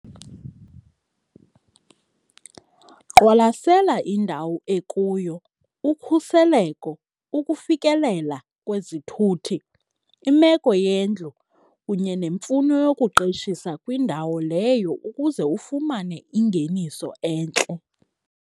Qwalasela indawo ekuyo ukhuseleko, ukufikelela kwezithuthi, imeko yendlu kunye nemfuno yokuqeshisa kwindawo leyo ukuze ufumane ingeniso entle.